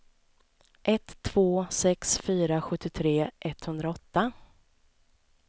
ett två sex fyra sjuttiotre etthundraåtta